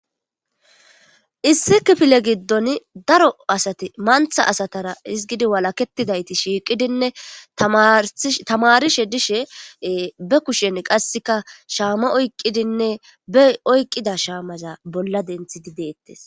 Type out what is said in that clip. issi kifile giddon daro asati mantha asatara izgidi walaketidayti shiiqidinne tamarishe dishe be kushen qasseka shaama oyqqidinne bey oyqqida shaamaza bolla denthidi deettes